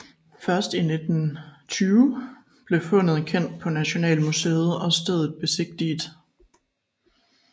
Først i 1920 blev fundet kendt på Nationalmuseet og stedet besigtiget